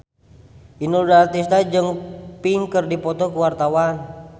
Inul Daratista jeung Pink keur dipoto ku wartawan